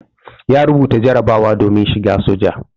Ya rubuta jarabawa domin shigan soja.